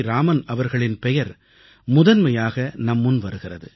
ராமன் அவர்களின் பெயர் முதன்மையாக நம் முன்வருகிறது